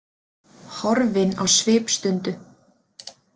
Horfin á svipstundu.